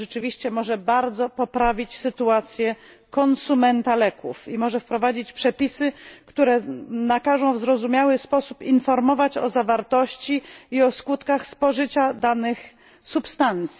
To rzeczywiście może bardzo poprawić sytuację konsumenta leków i może wprowadzić przepisy, które nakażą w zrozumiały sposób informować o zawartości i o skutkach spożycia danych substancji.